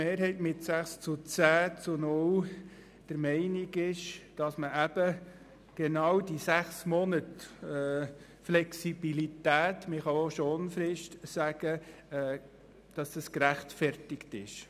Die Mehrheit der GSoK ist der Meinung, dass die sechs Monate Flexibilität oder Schonfrist gerechtfertigt sind.